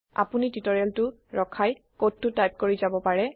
আপোনি টিওটৰিয়েলটো ৰখাই কডটো টাইপ কৰি যাব পাৰে